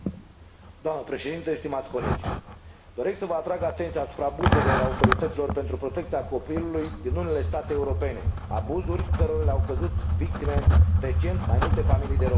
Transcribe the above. Doamnă președintă, stimați colegi, doresc să vă atrag atenția asupra abuzurilor autorităților pentru protecția copilului din unele state europene, abuzuri cărora le-au căzut victime, recent, mai multe familii de români.